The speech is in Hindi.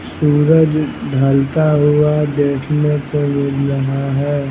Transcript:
सूरज ढलता हुआ देखने को मिल रहा है।